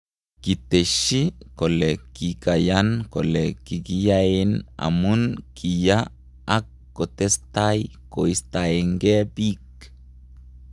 Kiteshi kole kikayan kole kikiyaen emun kiya ak kotestai kostaenge pik